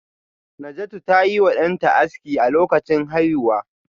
Najatu ta yi wa danta aski a lokacin haihuwa